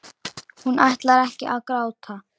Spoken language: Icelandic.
Hún ætlar ekki að gráta.